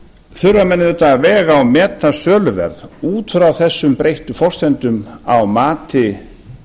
þurfa menn auðvitað að vega og meta söluverð út frá þessum breyttu forsendum á mati